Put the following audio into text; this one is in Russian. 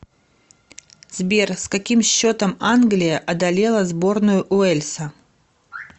сбер с каким счетом англия одолела сборную уэльса